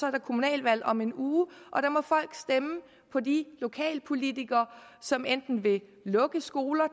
er kommunalvalg om en uge og der må folk stemme på de lokalpolitikere som enten vil lukke skoler